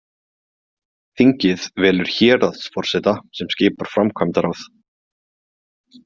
Þingið velur héraðsforseta sem skipar framkvæmdaráð.